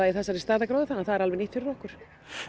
í þessari stærðargráðu þannig að það er alveg nýtt fyrir okkur